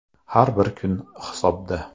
Har bir kun hisobda.